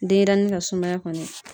Denɲɛrɛnin ka sumaya kɔni